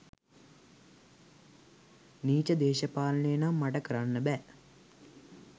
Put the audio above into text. නීච දේශපාලනය නම් මට කරන්න බෑ.